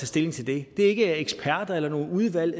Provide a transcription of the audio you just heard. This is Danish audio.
stilling til det det er ikke eksperter eller nogle udvalg